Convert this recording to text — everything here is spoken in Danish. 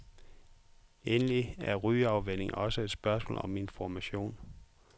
Endelig er rygeafvænning også et spørgsmål om information.